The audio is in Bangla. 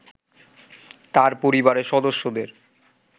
তার পরিবারের সদস্যদের